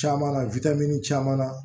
Caman na caman na